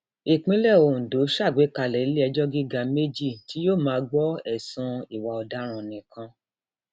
ìpínlẹ ondo ṣàgbékalẹ iléẹjọ gíga méjì tí yóò máa gbọ ẹsùn ìwà ọdaràn nìkan